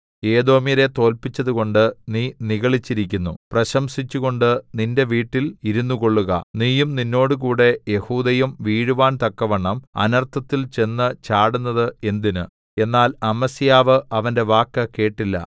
ഏദോമ്യരെ തോല്പിച്ചതുകൊണ്ട് നീ നിഗളിച്ചിരിക്കുന്നു പ്രശംസിച്ചുകൊണ്ട് നിന്റെ വീട്ടിൽ ഇരുന്നുകൊള്ളുക നീയും നിന്നോടുകൂടെ യെഹൂദയും വീഴുവാൻ തക്കവണ്ണം അനർത്ഥത്തിൽ ചെന്നു ചാടുന്നത് എന്തിന് എന്നാൽ അമസ്യാവ് അവന്റെ വാക്ക് കേട്ടില്ല